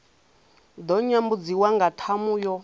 ḓo nyambudziwa nga ṱhamu yo